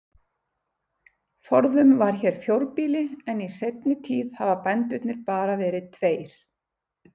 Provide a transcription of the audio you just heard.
Forðum var hér fjórbýli en í seinni tíð hafa bændurnir bara verið tveir.